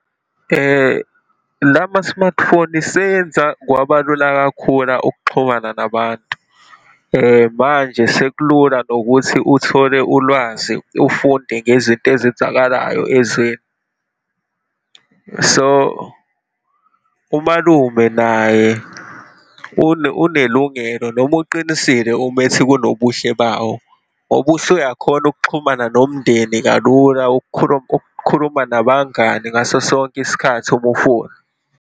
Lama-smartphone seyenza kwabalula kakhula ukuxhumana nabantu. Manje sekulula nokuthi uthole ulwazi, ufunde ngezinto ezenzakalayo ezweni. So, umalume naye unelungelo noma uqinisile uma ethi kunobuhle bawo, ngoba usuyakhona ukuxhumana nomndeni kalula ukukhuluma nabangani ngaso sonke isikhathi uma ufuna.